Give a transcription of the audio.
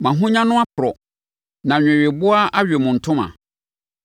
Mo ahonya no aporɔ na nweweboa awe mo ntoma.